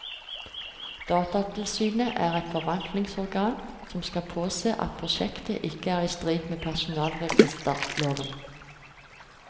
Datatilsynet er et forvaltningsorgan som skal påse at prosjektet ikke er i strid med personregisterloven.